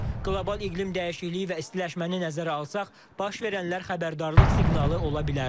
Qlobal iqlim dəyişikliyi və istiləşməni nəzərə alsaq, baş verənlər xəbərdarlıq siqnalı ola bilər.